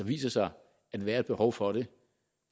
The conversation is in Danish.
viser sig at være et behov for det